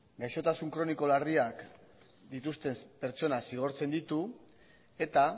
gaixotasun kroniko larriak dituzten pertsonak zigortzen ditu eta